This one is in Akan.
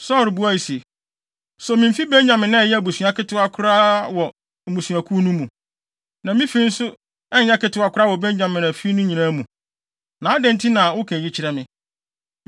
Saulo buae se, “So mimfi Benyamin a ɛyɛ abusua ketewa koraa wɔ mmusuakuw no mu. Na me fi nso nyɛ ketewa koraa wɔ Benyamin afi no nyinaa mu. Na adɛn nti na woka eyi kyerɛ me?”